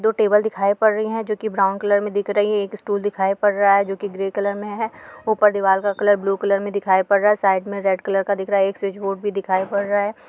दो टेबल दिखाई पड़ रही है जो की ब्रॉउन कलर में दिख रही है एक स्टूल दिखाई पड़ रहा है जो की ग्रे कलर में है ऊपर दीवाल का कलर ब्लू कलर में दिखाई पड़ा रहा है साइड में रेड कलर दिखाई पड़ रहा है।